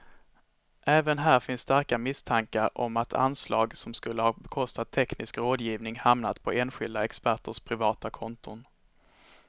Även här finns starka misstankar om att anslag som skulle ha bekostat teknisk rådgivning hamnat på enskilda experters privata konton.